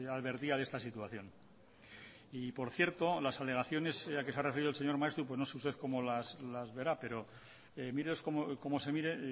ya advertía de esta situación y por cierto las alegaciones a que se ha referido el señor maeztu no sé usted cómo las verá pero se mire cómo se mire